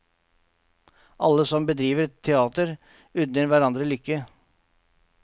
Alle som bedriver teater, unner hverandre lykke.